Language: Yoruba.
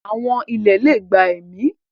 ááwọ̀ ilẹ̀ lè gba ẹ̀mí.